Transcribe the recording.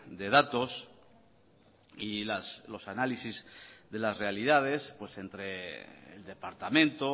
de datos y los análisis de las realidades entre el departamento